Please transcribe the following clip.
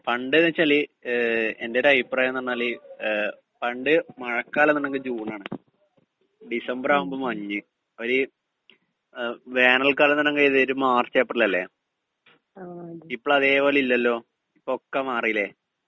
speaker 2 പണ്ട് ന്നു വച്ചാല് ങേ എന്റെ ഒരു അഭിപ്രായം എന്ന് പറഞ്ഞാല് ഏ പണ്ട് മഴക്കാലം എന്നങ്കി ജൂണാണ് ഡിസംബർ ആകുമ്പോ മഞ്ഞ് ഒരു വേനൽ കാലമെന്ന് പറയണെങ്കില് മാർച്ച് ഏപ്രിൽ അല്ലേ ഇപ്പഴതേ പോലില്ലല്ലോ ഇപ്പോഴൊക്കേ മാറീല്ലേ